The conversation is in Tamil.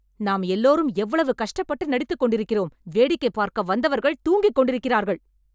நாம் எல்லோரும் எவ்வளவு கஷ்டப்பட்டு நடித்துக் கொண்டிருக்கிறோம் வேடிக்கை பார்க்க வந்தவர்கள் தூங்கிக் கொண்டிருக்கிறார்கள்